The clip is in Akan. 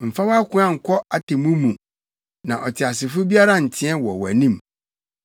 Mfa wʼakoa nkɔ atemmu mu, na ɔteasefo biara nteɛ wɔ wʼanim.